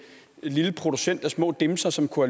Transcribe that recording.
lille producent af små dimser som kunne